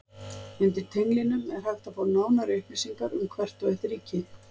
Undir tenglinum er hægt að fá nánari upplýsingar um hvert og eitt ríki.